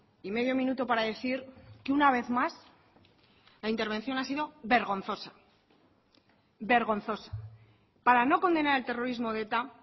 y medio minuto para decir que una vez más la intervención ha sido vergonzosa vergonzosa para no condenar el terrorismo de eta